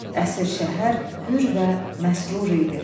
Əsir şəhər hürr və məsrur idi.